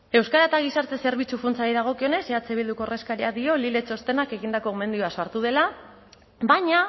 euskara eta gizarte zerbitzu funtsari dagokionez eh bilduko ordezkariak dio lile txostenak egindako gomendioak sortu dela baina